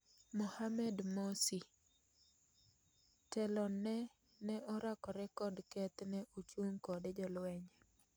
Mohamed Morsi:Telone ne orakre kod keth ne uchung kode jolweny